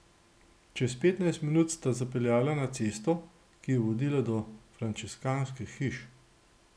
Čez petnajst minut sta zapeljala na cesto, ki je vodila do frančiškanskih hiš.